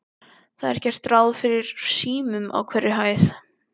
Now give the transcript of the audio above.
Það er gert ráð fyrir símum á hverri hæð.